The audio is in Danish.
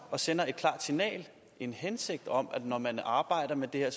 og sender et klart signal en hensigt om at når man arbejder med det her